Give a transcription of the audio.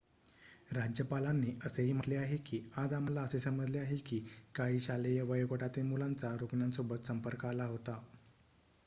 "राज्यपालांनी असेही म्हटले आहे की "आज आम्हाला असे समजले आहे की काही शालेय वयोगटातील मुलांचा रुग्णासोबत संपर्क आला होता.""